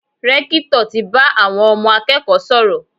Rẹ́kítọ̀ ti bá àwọn ọmọ akẹ́kọ̀ọ́ sọ̀rọ̀.